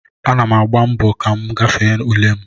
Ana m agba mbọ ka m gafee ule m